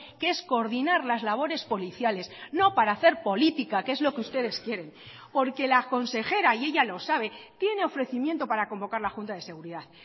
que es coordinar las labores policiales no para hacer política que es lo que ustedes quieren porque la consejera y ella lo sabe tiene ofrecimiento para convocar la junta de seguridad